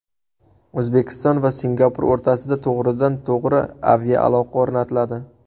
O‘zbekiston va Singapur o‘rtasida to‘g‘ridan-to‘g‘ri aviaaloqa o‘rnatiladi.